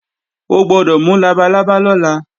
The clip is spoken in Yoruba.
O gbọ́dọ̀ mú labalábá lọ́la!